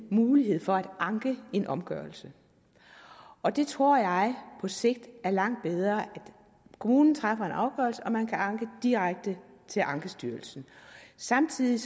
mulighed for at anke en omgørelse og det tror jeg på sigt er langt bedre kommunen træffer en afgørelse og man kan så anke direkte til ankestyrelsen samtidig